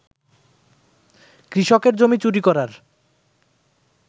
কৃষকের জমি চুরি করার